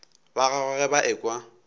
ba gagwe ge ba ekwa